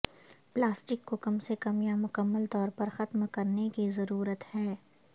plastic کو کم سے کم یا مکمل طور پر ختم کرنے کی ضرورت ہے